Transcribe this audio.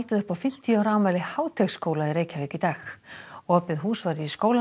upp á fimmtíu ára afmæli Háteigsskóla í Reykjavík í dag opið hús var í skólanum